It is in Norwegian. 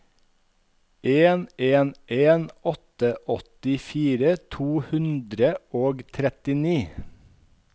en en en åtte åttifire to hundre og trettini